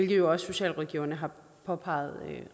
jo også socialrådgiverne har påpeget